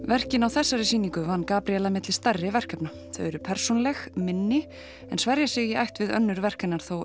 verkin á þessari sýningu vann Gabríela milli stærri verkefna þau eru persónuleg minni en svera sig í ætt við önnur verk hennar þó